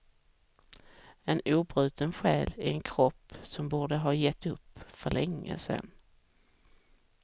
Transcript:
En obruten själ i en kropp som borde ha gett upp för länge sedan.